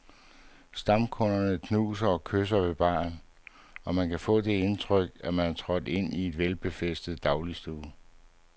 Stamkunderne knuser og kysser ved baren, og man kan få det indtryk, at man er trådt ind i en velbefærdet dagligstue.